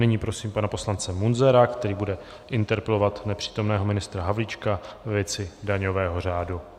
Nyní prosím pana poslance Munzara, který bude interpelovat nepřítomného ministra Havlíčka ve věci daňového řádu.